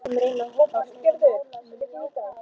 Ástgerður, mun rigna í dag?